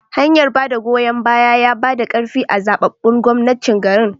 hanyar bada goyon baya yabada karfi a zababbun shugabancin garin